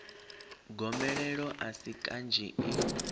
gomelelo a si kanzhi i